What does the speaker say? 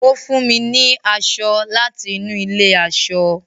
ọ fún mí ní aṣọ láti inú ilé aṣọ